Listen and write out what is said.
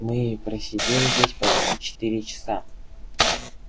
мы просидели здесь почти четыре часа